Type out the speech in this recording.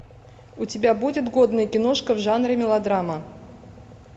у тебя будет годная киношка в жанре мелодрама